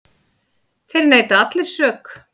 Þeir neita allir sök.